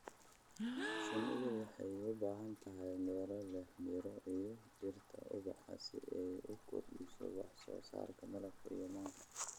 Shinnidu waxay u baahan tahay meelo leh miro iyo dhirta ubaxa si ay u kordhiso wax soo saarka malabka iyo manka.